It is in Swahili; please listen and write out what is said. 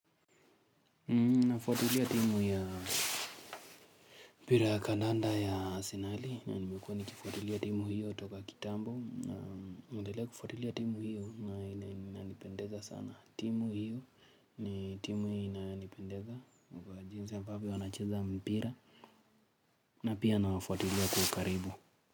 Nafuatilia timu ya mpira ya kandanda ya Arsenali na nimekuwa nikifuatilia timu hiyo toka kitambo naendelea kufuatilia timu hiyo na inanipendeza sana timu hiyo ni timu inanipendeza kwa jinsi ambavyo wanacheza mpira na pia nawafuatilia kwa ukaribu.